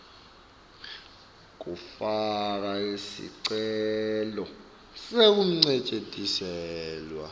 kufaka sicelo sekuncesheteliselwa